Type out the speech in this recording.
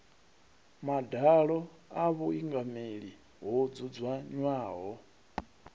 madalo a vhuingameli ho dzudzanywaho